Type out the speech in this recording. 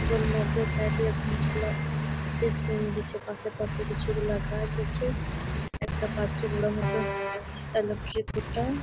ওগোল মধ্যে সাইড এ ঘাস গুলা শির শিরিয়ে গেছে। পাশে পাশে কিছু গুলা গাছ আছে। একটা পাশে বড় মতন ইলেক্টি খুটা-আ--